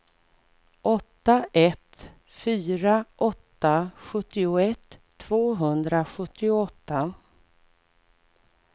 åtta ett fyra åtta sjuttioett tvåhundrasjuttioåtta